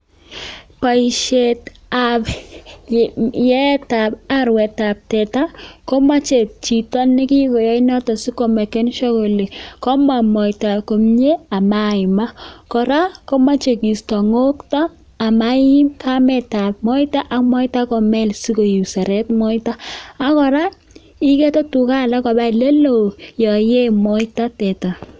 Boishetab ietab arwetab teta, komoche chito ne kigoyoe noto asikomeken sure kole komong moita komye ama iimak. Kora komoche kiisto ng'okto ama iim kametab moita ak moita komel sikoseret moita. Ak kora, iigete tuga alak koba ele loo yon ie moita teta.